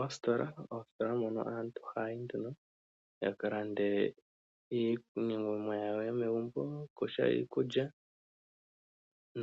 Oositola moka aantu haya yi ya ka lande mo iinima yawo yomegumbo kutya iikulya